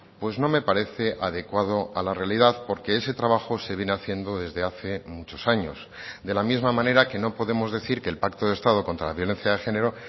pues no me parece adecuado a la realidad porque ese trabajo se viene haciendo desde hace muchos años de la misma manera que no podemos decir que el pacto de estado contra la violencia de género